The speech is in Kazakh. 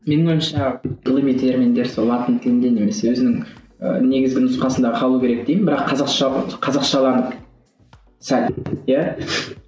менің ойымша ғылыми терминдер сол латын тілінде немесе өзінің ііі негізгі нұсқасында қалуы керек деймін бірақ қазақша болды қазақшаланды сәл иә